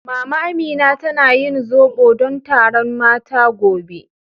Mama Amina tana yin zobo don taron mata gobe.